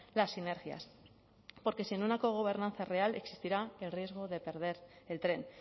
las sinergias porque sin una cogobernanza real existirá el riesgo de perder el tren